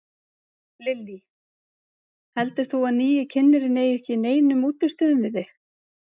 Lillý: Heldur þú að nýi kynnirinn eigi ekki í neinum útistöðum við þig?